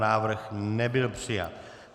Návrh nebyl přijat.